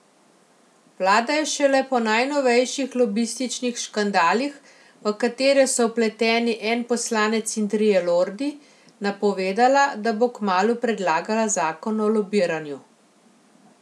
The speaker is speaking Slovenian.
Vlada je šele po najnovejših lobističnih škandalih, v katere so vpleteni en poslanec in trije lordi, napovedala, da bo kmalu predlagala zakon o lobiranju.